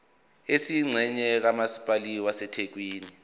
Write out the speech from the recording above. esiyingxenye kamasipala wasethekwini